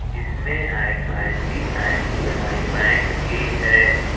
इसमें ऐक ICICI bank भी है।